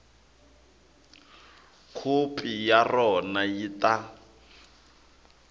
khopi ya rona yi ta